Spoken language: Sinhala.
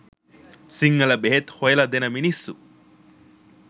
සිංහල බෙහෙත් හොයල දෙන මිනිස්සු